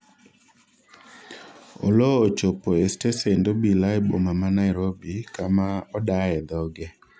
Oloo ochopo e stesend obila e boma ma Nairobi kama odaye dhoge